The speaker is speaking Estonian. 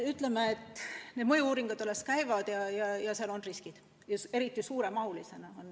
Ütleme, et mõju-uuringud alles käivad ja mängus võivad olla riskid, mis on eriti suured.